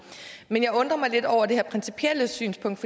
jeg undrer mig lidt over det her principielle synspunkt